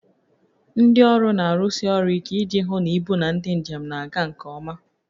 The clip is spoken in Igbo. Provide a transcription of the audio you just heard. Ndị ọrụ na-arụsi ọrụ ike iji hụ na ibu na ndị njem na-aga nke ọma